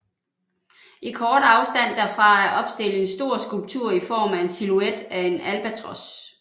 I kort afstand derfra er opstillet en stor skulptur i form af en silhuet af en albatros